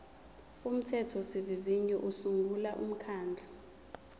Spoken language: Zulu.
umthethosivivinyo usungula umkhandlu